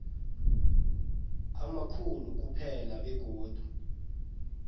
amakhulu kuphela begodu